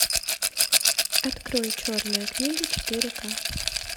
открой черная книга четыре ка